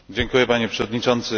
Panie Przewodniczący!